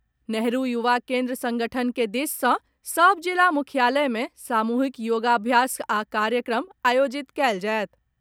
नेहरू युवा केन्द्र संगठन के दिस सॅ सभ जिला मुख्यालय मे सामूहिक योगाभ्यास आ कार्यक्रम आयोजित कयल जायत।